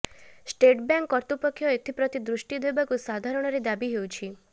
State Bank କର୍ତୃପକ୍ଷ ଏଥିପ୍ରତି ଦୃଷ୍ଟି ଦେବାକୁ ସାଧାରଣରେ ଦାବି ହେଉଛି